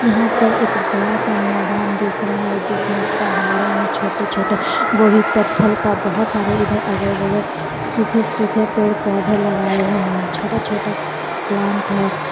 यहां पर एक बड़ा सा मैदान देख रहा है जिसमें पहाड़े हैं छोटे छोटे वो भी पत्थल का बहोत सारे इधर अगल बगल सूखे सूखे पेड़ पौधे लगाए हुए हैं छोटा छोटा प्लांट है।